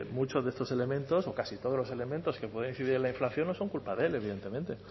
muchos de estos elementos o casi todos los elementos que pueden incidir en la inflación no son culpa de él evidentemente